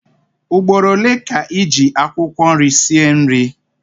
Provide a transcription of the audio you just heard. Ugboro ole ka ị ji akwụkwọ nri sie nri?